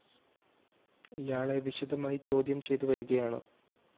ഇയാളെ വിശദമായി ചോദ്യം ചെയ്ത് വരുകയാണ്